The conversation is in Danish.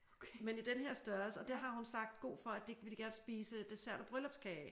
Men i den her størrelse og det har hun sagt god for at det vil de gerne spise dessert og bryllupskage af